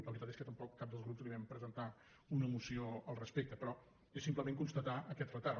la veritat és que tampoc cap dels grups li vam presen·tar una moció al respecte però és simplement cons·tatar aquest retard